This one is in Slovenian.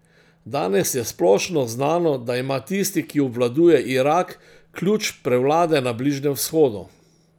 Danes je splošno znano, da ima tisti , ki obvladuje Irak, ključ prevlade na Bližnjem vzhodu.